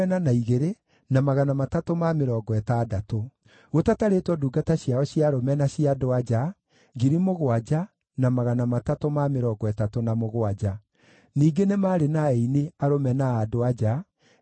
Mũigana wa kĩrĩa kĩaheanirwo nĩ andũ arĩa angĩ warĩ durakima 20,000 cia thahabu, na ratiri 2,000 cia betha, na nguo 67 cia athĩnjĩri-Ngai.